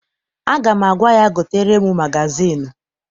Aga m agwa ya, gotere m magazịịnụ!